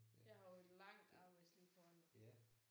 Jeg har jo et langt arbejdsliv foran mig